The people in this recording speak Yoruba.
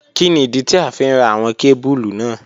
Kini idi ti a fi n ra awọn kebulu naa?